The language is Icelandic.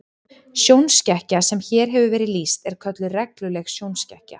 Sjónskekkja sem hér hefur verið lýst er kölluð regluleg sjónskekkja.